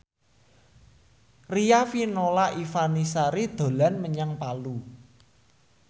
Riafinola Ifani Sari dolan menyang Palu